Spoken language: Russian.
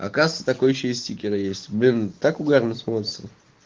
оказывается такой ещё и стикеры есть блин так угарно смеётся